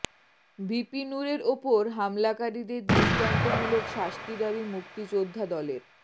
VP নূরের ওপর হামলাকারীদের দৃষ্টান্তমূলক শাস্তি দাবি মুক্তিযোদ্ধা দলের